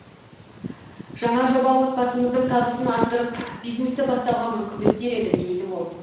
жаңа жоба отбасымыздың табысын арттырып бизнесті бастауға мүмкіндік береді дейді ол